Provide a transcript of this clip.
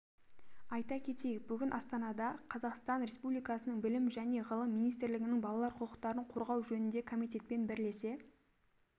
айта кетейік бүгін астанада қазақстан республикасының білім және ғылым министрлігінің балалар құқықтарын қорғау жөніндегі комитетпен бірлесе